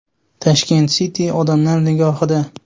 Tashkent City odamlar nigohida.